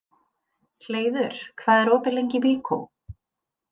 Hleiður, hvað er opið lengi í Byko?